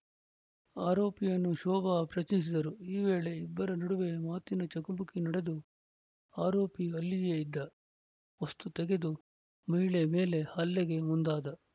ಆರೋಪಿಯನ್ನು ಶೋಭಾ ಪ್ರಶ್ನಿಸಿದರು ಈ ವೇಳೆ ಇಬ್ಬರ ನಡುವೆ ಮಾತಿನ ಚಕಮಕಿ ನಡೆದು ಆರೋಪಿ ಅಲ್ಲಿಯೇ ಇದ್ದ ವಸ್ತು ತೆಗೆದು ಮಹಿಳೆ ಮೇಲೆ ಹಲ್ಲೆಗೆ ಮುಂದಾದ